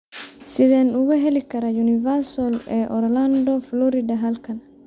Sideen uga heli karaa Universal ee orlando florida halkan